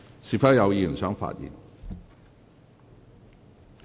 是否有委員想發言？